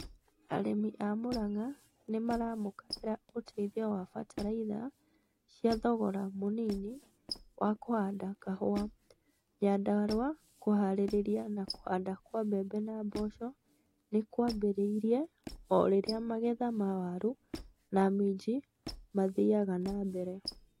Arĩmi a Muranga nĩ maramũkagĩra ũteithio wa bataraitha cia thogora mũnini wa kũhanda kahũa Nyandarua kũhaarĩria na kũhanda kwa mbembe na mboco nĩ kwambĩrĩirie o rĩrĩa magetha ma waru na minji maathiaga na mbere.